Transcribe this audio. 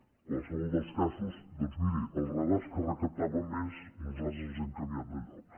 en qualsevol dels casos doncs miri els radars que recaptaven més nosaltres els hem canviat de lloc